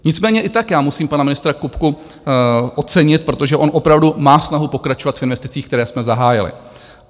Nicméně i tak já musím pana ministra Kupku ocenit, protože on opravdu má snahu pokračovat v investicích, které jsme zahájili.